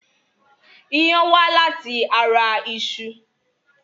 Iyán wá láti ara iṣu.